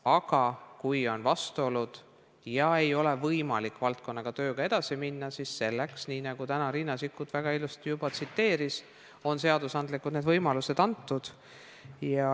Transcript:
Aga kui on vastuolud ja valdkonna tööga ei ole võimalik edasi minna, siis selleks – nii nagu Riina Sikkut täna väga ilusti juba tsiteeris – on seadusandlikult teatavad võimalused antud.